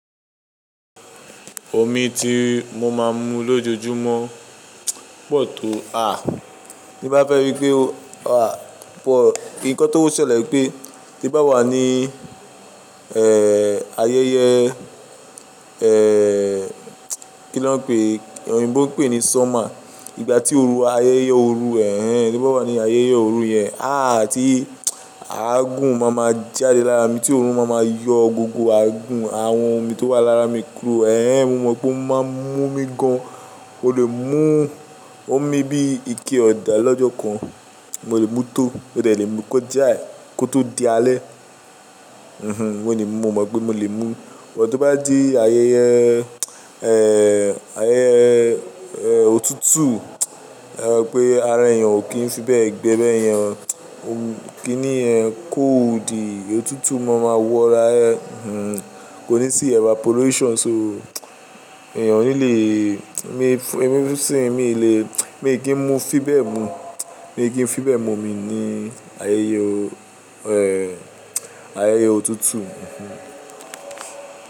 Omi ti mo máa ń mu lójoojúmọ́ pọ̀ tó, à, ní bá fẹ́ rí pé, à, pọ̀. Ǹkan tó ń ṣẹlẹ̀ pé tí bá wà ní, eh, ayẹyẹ, eh, kí ló ń pé, Yoyinbo ń pè ní summer, ìgbà tí oru ayẹyẹ oru ẹ, tí bá wà ní ayẹyẹ oru yẹn, à àti, àgùn máa ma jáde lára mi tí òórùn máa ma yọ gbogbo àgùn àwọn omi tó wà lára mi kúrò. Ehn, mo mọ̀ pé ó máa ń mú omi gan, o lè mú, o mi bí ike ọ̀dà lọ́jọ́ kan, mo lè mú tó, ó lè le mú kó já, kó tó di alẹ́. Mhm, mọ́ lè mú, mo mọ̀ pé mo lè mú. Ìgbà tí ó bá di ayẹyẹ, eh, ayẹyẹ, eh, otútù, pé ara èèyàn ò kí ń fi bẹ́ẹ̀ gbẹbẹ́ ẹ, ò kí ní ẹ code. Otútù mo máa wọra ẹ, mhm, kò ní sí evaporation so èèyàn ò ní lè, mi fún, mi sì ń, mi ò lè, mi ò kí ń mú fi bẹ́ẹ̀ mu. Mi ò kí ń fi bẹ́ẹ̀ mu omi ní ayẹyẹ o, eh, ayẹyẹ otútù, mhm.